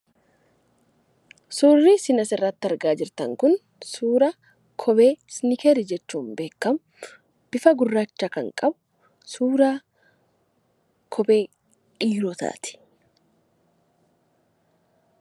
Suurri isin asirratti argaa jirtan kun suura kophee nikeelii jechuun beekamu bifa gurraacha kan qabu, suura kophee dhiirotaati.